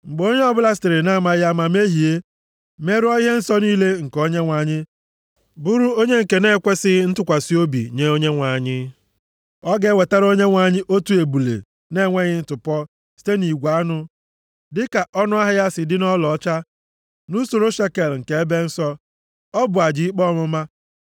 “Mgbe onye ọbụla sitere na-amaghị ama mehie, merụọ ihe nsọ niile nke Onyenwe anyị, bụrụ onye nke nʼekwesighị ntụkwasị obi nye Onyenwe anyị. Ọ ga-ewetara Onyenwe anyị otu ebule na-enweghị ntụpọ site nʼigwe anụ, dịka ọnụahịa ya si dị nʼọlaọcha, nʼusoro shekel nke ebe nsọ. + 5:15 Ya bụ ọnụ ego, dịka ndị ikpe kpebiri ya. Ọ bụ aja ikpe ọmụma.